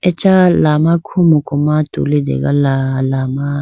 acha lama khumuku ma tulitegala lama.